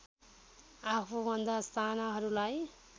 आफूभन्दा सानाहरूलाई